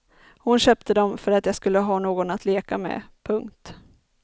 Hon köpte dem för att jag skulle ha någon att leka med. punkt